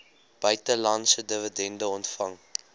buitelandse dividende ontvang